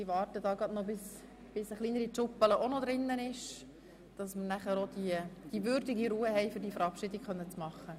Ich warte noch einen Moment, bis wir die würdige Ruhe haben, um diese Verabschiedung vorzunehmen.